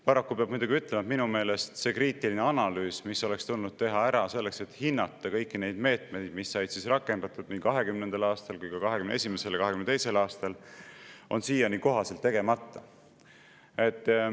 Paraku peab muidugi ütlema, et minu meelest see kriitiline analüüs, mis oleks tulnud teha ära selleks, et hinnata kõiki neid meetmeid, mis said rakendatud nii 2020. aastal kui ka 2021. ja 2022. aastal, on siiani kohaselt tegemata.